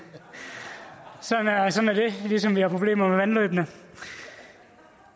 sådan er det ligesom vi har problemer med vandløbene